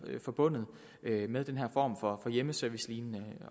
forbundet med den her form for hjemmeservicelignende